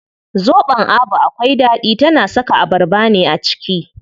Zobon Abu akwai ɗaɗi, tana saka abarba ne a ciki.